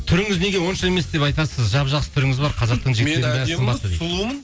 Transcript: түріңіз неге онша емес деп айтасыз жап жақсы түріңіз бар қазақтың жігіттерінің бәрі сымбатты дейді